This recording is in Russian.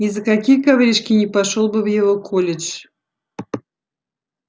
ни за какие коврижки не пошёл бы в его колледж